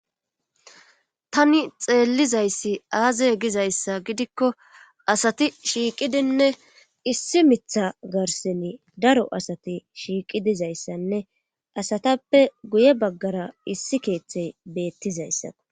Tani xeellizayssi aazey gizayssa gidikko asati shiiqidinne issi miiththa garssani daro asati shiiqi dizayssanne asatappe guye baggara issi keeththey beettizayssa